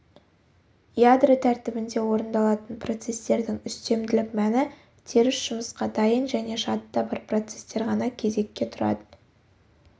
ядро тәртібінде орындалатын процестердің үстемділік мәні теріс жұмысқа дайын және жадыда бар процестер ғана кезекке тұра